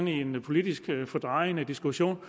i en politisk fordrejende diskussion